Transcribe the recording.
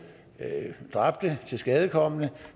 dræbte og tilskadekomne